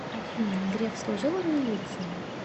афина греф служил в милиции